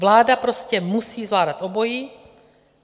Vláda prostě musí zvládat obojí.